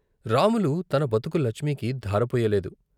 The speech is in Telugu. రాములు తన బతుకు లచ్మికి ధారపొయ్యలేదు.